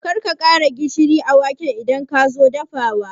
Karka ƙara gishiri a waken idan kazo dafawa